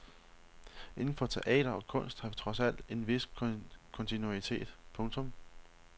Inden for teater og kunst har vi dog trods alt en vis kontinuitet. punktum